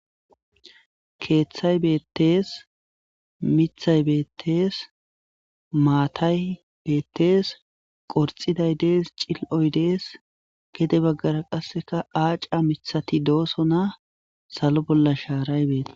Kethay betes mithay betes matay betes qorixiday dees cili'oy de'es gede bagara qasi aca mithati do'sona salo bolla sharay de'es